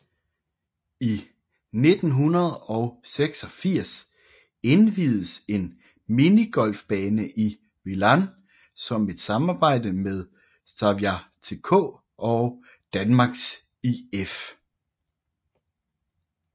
I 1986 inviededes en minigolfbane i Vilan i samarbejde med Sävja TK og Danmarks IF